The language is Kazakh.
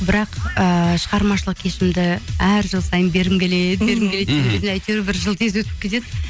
бірақ ыыы шығармашылық кешімді әр жыл сайын бергім келеді бергім келеді әйтеуір бір жыл тез өтіп кетеді